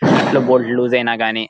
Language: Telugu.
నాట్లు బోల్ట్ లు లూస్ అయినా కానీ--